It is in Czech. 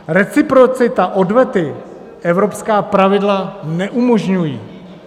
Reciprocita odvety - evropská pravidla neumožňují.